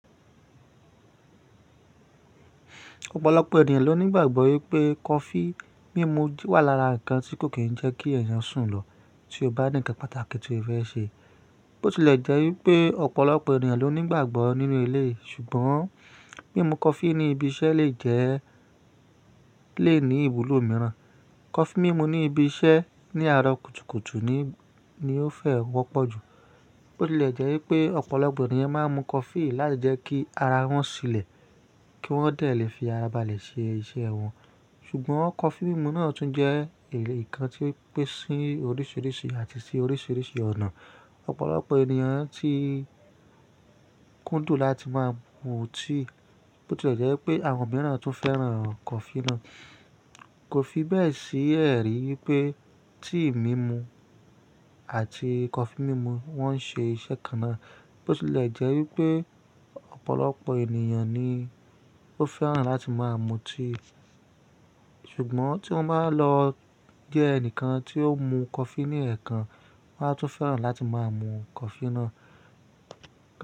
Ọ̀pọ̀lọpọ̀ ènìyàn ló ní ìgbàgbọ́ wípé kọfí mímu wà lára ǹkan tí kò kí ń jẹ́ kí ẹ̀yàn sùn lọ tí ó bá ní ǹkan pàtàkì tí ó fẹ́ ṣe. Bó ti lè jẹ́ wípé ọ̀pọ̀lọpọ̀ ènìyàn ló ní ìgbàgbọ́ nínú eleyi, ṣùgbọ́n mímu kọfí ní ibi iṣẹ́ le ní ìwúlò mìíràn. Kọfí mímu ní ibi iṣẹ́ ní àárọ̀ kùtùkùtù ni, ni ó fẹ́ wọ́pọ̀ jù. Bó ti lè jẹ́ wípé ọ̀pọ̀lọpọ̀ ènìyàn máa ń mu kọfí láti jẹ́ kí ara wọn ṣilẹ̀, kí wọ́n lè fi ara balẹ̀ ṣe iṣẹ́ wọn. Ṣùgbọ́n kọfí mímu náà tún jẹ́ èya nkan tí o ń pèsín oríṣìíríṣìí àti sí oríṣìíríṣìí ọ̀nà. Ọ̀pọ̀lọpọ̀ ènìyàn tí kúndùn láti máa mu tea Bó ti lè jẹ́ wípé àwọn mìíràn tún fẹ́ràn kọfí náà. Kò fi bẹ́ẹ̀ sí ẹ̀rí wípé tii mímu àti kọfí mímu wọ́n ń ṣe iṣẹ́ kan náà. Bó ti lè jẹ́ wípé ọ̀pọ̀lọpọ̀ ènìyàn ni ó fẹ́ràn láti máa mu tíì. Ṣùgbọ́n tí wọ́n bá lọ jẹ́ ẹnìkan tí ó ń mu kọfí ní ẹ̀ẹ̀kan, wọ́n á tún fẹ́ràn láti máa mu kọfí náà.